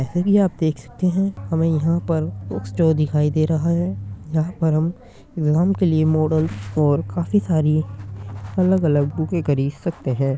ऐसे भी आप देख सकते है हमे यहाँ पर बुक्स जो दिखाई दे रहा है। यहाँ पर हम इग्ज़ैम के लिए मोडल और काफी सारी अलग-अलग बुकें खरीद सकते है।